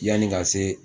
Yanni ka se